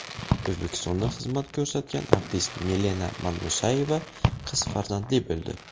O‘zbekistonda xizmat ko‘rsatgan artist Milena Madmusayeva qiz farzandli bo‘ldi.